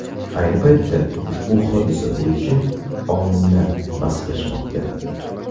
Ayni paytda ushbu hodisa bo‘yicha olimlar bahslashmoqda.